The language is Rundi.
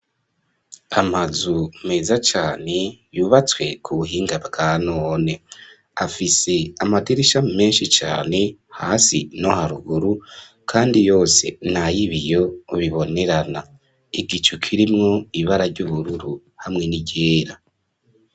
Amazu, meza cane, yubatswe ku buhinga, bwa none; afise amadirisha, menshi cane, hasi no haruguru; kandi yose, ni ay'ibiyo, bibonerana; igicu, kirimwo ibara ry'ubururu, hamwe n'iryera.